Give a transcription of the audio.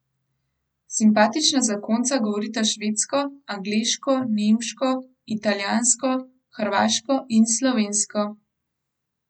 Simpatična zakonca govorita švedsko, angleško, nemško, italijansko, hrvaško in slovensko.